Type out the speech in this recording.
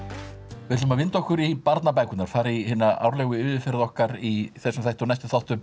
við ætlum að vinda okkur í barnabækurnar fara í hina árlegu yfirferð okkar í þessum þætti og næstu þáttum